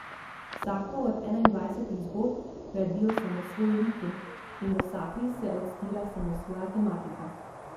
Vsako od enaindvajsetih zgodb gradijo samosvoji liki in v vsaki se odstira samosvoja tematika.